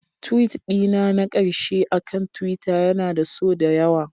Tweet dina na ƙarshe akan Twitter yana da so da yawa